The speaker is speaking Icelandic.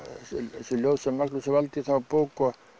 þessi ljóð sem Magnús valdi í þá bók